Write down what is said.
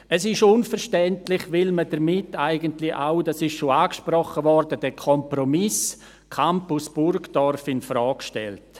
Es ist unverständlich, weil man damit eigentlich auch – dies wurde bereits angesprochen – den Kompromiss Campus Burgdorf infrage stellt.